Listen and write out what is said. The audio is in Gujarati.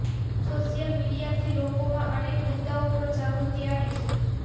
સોશિયલ મીડિયાથી લોકોમાં અનેક મુદ્દાઓ પર જાગૃતિ આવી છે